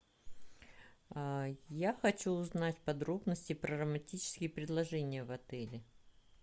я хочу узнать подробности про романтические предложения в отеле